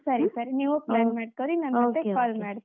ಸರಿ ಸರಿ, ನೀವು plan ಮಾಡ್ಕೋರಿ .